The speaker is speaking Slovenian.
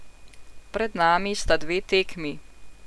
Pred nami sta dve tekmi.